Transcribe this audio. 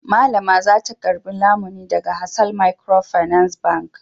Mallama za ta karɓi lamuni daga Hasal Microfinance Bank.